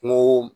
Kungo